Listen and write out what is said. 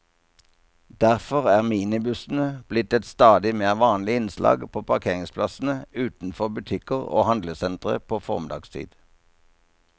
Derfor er minibussene blitt et stadig mer vanlig innslag på parkeringsplassene utenfor butikker og handlesentre på formiddagstid.